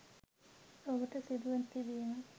ඔහුට සිදුව තිබීම